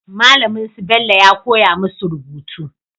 Malamin su Bello ya koya musu rubutu